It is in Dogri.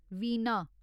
वीणा